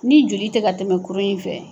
Ni joli tɛ ka tɛmɛ kuru in fɛ